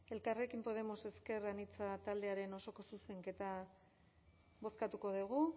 elkarrekin podermos ezker anitza taldearen osoko zuzenketa bozkatuko dugu